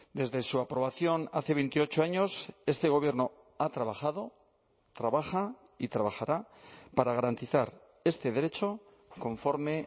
desde su aprobación hace veintiocho años este gobierno ha trabajado trabaja y trabajará para garantizar este derecho conforme